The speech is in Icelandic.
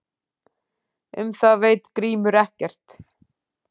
Um það veit Grímur ekkert.